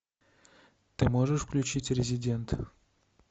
ты можешь включить резидент